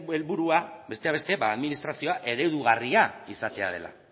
helburua besteak beste administrazioa eredugarria izatea dela